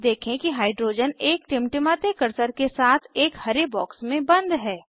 देखें कि हाइड्रोजन एक टिमटिमाते कर्सर के साथ एक हरे बॉक्स में बंद है